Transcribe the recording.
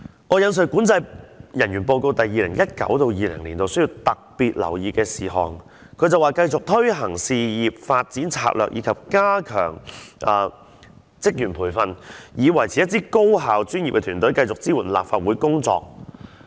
我引述管制人員報告 2019-2020 年度需要特別留意的事項，它指出會繼續推行事業發展策略及加強職員培訓，以維持一支高效專業的團隊，持續支援立法會的工作。